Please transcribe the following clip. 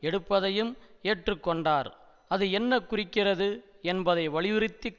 எடுப்பதையும் ஏற்றுக்கொண்டார் அது என்ன குறிக்கிறது என்பதை வலியுறுத்தி